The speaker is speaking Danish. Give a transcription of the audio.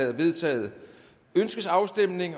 er vedtaget ønskes afstemning